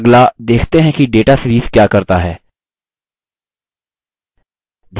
अगला देखते हैं कि data series क्या करता है